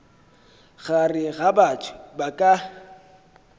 gare ga batho ba ka